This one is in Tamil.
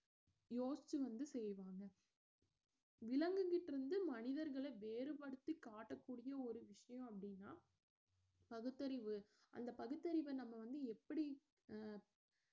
யோசிச்சு வந்து செய்வாங்க விலங்குகிட்ட இருந்து மனிதர்களை வேறுபடுத்தி காட்டக்கூடிய ஒரு விஷயம் அப்படின்னா பகுத்தறிவு அந்த பகுத்தறிவ நம்ம வந்து எப்படி அஹ்